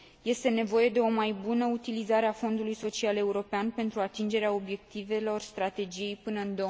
Este nevoie de o mai bună utilizare a Fondului social european, pentru atingerea obiectivelor strategiei până în